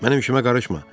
Mənim işimə qarışma!